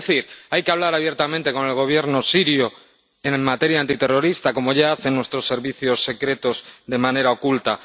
Es decir, hay que hablar abiertamente con el Gobierno sirio en materia antiterrorista, como ya hacen nuestros servicios secretos de manera oculta